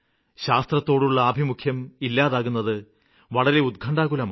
ശാസ്ത്രത്തോടുള്ള ആഭിമുഖ്യം ഇല്ലാതാകുന്നത് വളരെ ഉത്ക്കണ്ഠാകുലമാണ്